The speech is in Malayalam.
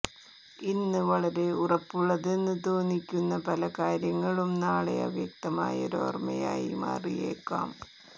ഇന്ന് വളരെ ഉറപ്പുള്ളതെന്ന് തോന്നിക്കുന്ന പല കാര്യങ്ങളും നാളെ അവ്യക്തമായ ഓര്മയായ് മാറിയേക്കാം